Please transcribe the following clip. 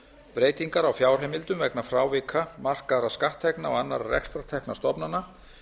breytingar á fjárheimildum vegna frávika markaðra skatttekna og annarra rekstrartekna stofnana